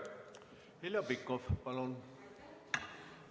Heljo Pikhof, palun!